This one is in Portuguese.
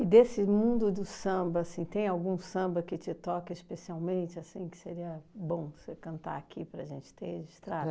desse mundo do samba, assim, tem algum samba que te toca especialmente assim, que seria bom você cantar aqui para a gente ter registrado?